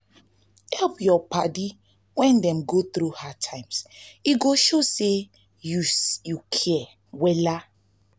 help yur padi wen dem go thru hard times e go show say yu care wella